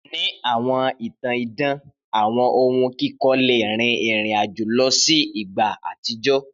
Ni awọn itan idan awọn ohun kikọ le rin irin-ajo lọ si igba atijọ.